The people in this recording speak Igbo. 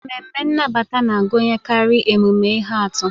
Ememme nnabata na-agụnyekarị emume ihe atụ.